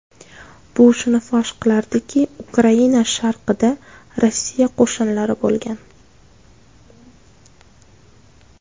Bu shuni fosh qilardiki, Ukraina sharqida Rossiya qo‘shinlari bo‘lgan.